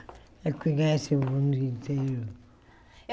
Ela conhece o mundo inteiro.